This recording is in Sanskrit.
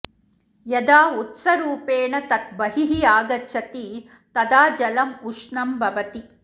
यदा उत्सरूपेण तत् बहिः आगच्छति तदा जलम् उष्णं भवति